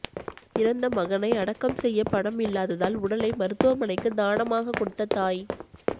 இறந்த மகனை அடக்கம் செய்ய பணம் இல்லாததால் உடலை மருத்துவமனைக்கு தானமாக கொடுத்த தாய்